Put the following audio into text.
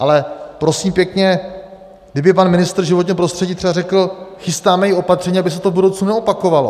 Ale prosím pěkně, kdyby pan ministr životního prostředí třeba řekl: chystáme i opatření, aby se to v budoucnu neopakovalo.